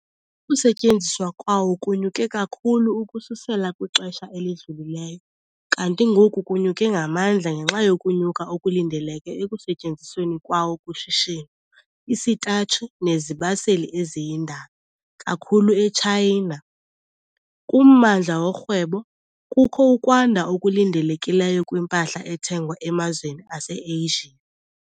Ukusetyenziswa kwawo kunyuke kakhulu ukususela kwixesha elidlulileyo kanti ngoku kunyuke ngamandla ngenxa yokunyuka okulindeleke ekusetyenzisweni kwawo kushishino isitatshi nezibaseli eziyindalo kakhulu eTshayina. Kummandla worhwebo, kukho ukwanda okulindelekileyo kwimpahla ethengwa emazweni aseAsia.